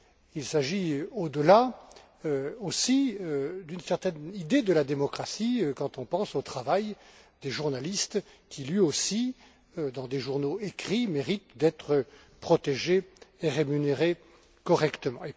Il s'agit également, au delà, d'une certaine idée de la démocratie, quand on pense au travail des journalistes qui, lui aussi, dans des journaux écrits, mérite d'être protégé et rémunéré correctement.